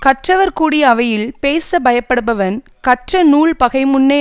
கற்றவர் கூடிய அவையில் பேச பயப்படுபவன் கற்ற நூல் பகைமுன்னே